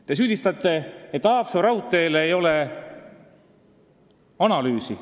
Te süüdistate, et Haapsalu raudtee kohta ei ole tehtud analüüsi.